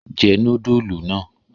Jẹ núdúlù náà!